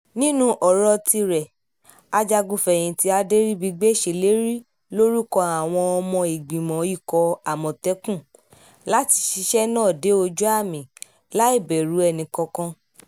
nínú ọ̀rọ̀ tirẹ̀ ajagun-fẹ̀yìntì adẹribigbe ṣèlérí lórúkọ àwọn ọmọ ìgbìmọ̀ ikọ̀ àmọ̀tẹ́kùn láti ṣiṣẹ́ náà dé ojú-àmì láì bẹ̀rù ẹnikẹ́ni